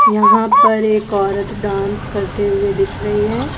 यहां पर एक औरत डांस करते हुए दिख रही है।